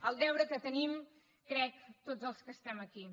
el deure que tenim crec tots els que estem aquí